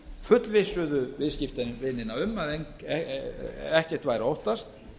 fullvissuðu viðskiptavinina um að ekkert væri að óttast